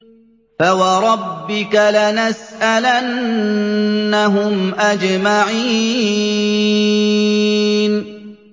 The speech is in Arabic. فَوَرَبِّكَ لَنَسْأَلَنَّهُمْ أَجْمَعِينَ